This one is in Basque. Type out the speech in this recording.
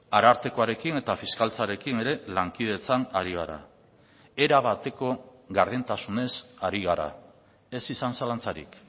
arartekoarekin eta fiskaltzarekin ere lankidetzan ari gara erabateko gardentasunez ari gara ez izan zalantzarik